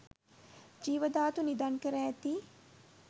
ජීව ධාතු නිධන් කර ඇති